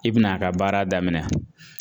I bɛn'a ka baara daminɛ.